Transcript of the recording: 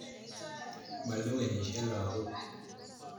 Malewenisyei lagok